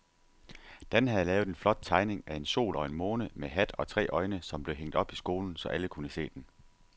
Dan havde lavet en flot tegning af en sol og en måne med hat og tre øjne, som blev hængt op i skolen, så alle kunne se den.